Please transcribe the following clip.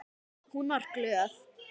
Hún var glöð.